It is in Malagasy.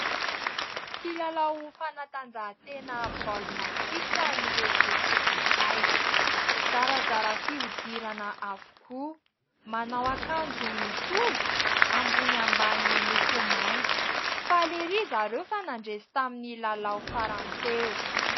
Mpilalao fanatanjahan-tena baokina kitra ireto tovolahy, zarazara fihodirana avokoa, manao akanjo mitovy, ambony ambany miloko mainty, faly erỳ zareo fa nandresy tamin'ny lalao farany teo.